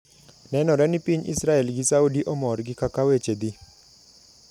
Nenore ni piny Israel gi Saudi omor gi kaka weche dhi.